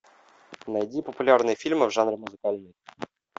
найди популярные фильмы в жанре музыкальный